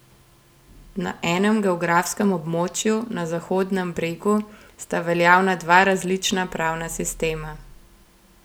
Na enem geografskem območju, na Zahodnem bregu, sta veljavna dva različna pravna sistema.